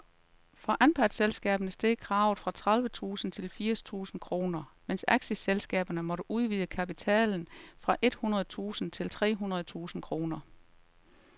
For anpartsselskaberne steg kravet fra tredive tusind til firs tusind kroner, mens aktieselskaberne måtte udvide kapitalen fra et hundrede tusind til tre hundrede tusind kroner.